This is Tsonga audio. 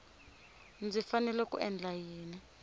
ndzi fanele ku endla yini